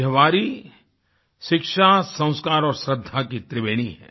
यह वारी शिक्षा संस्कार और श्रद्धा की त्रिवेणी है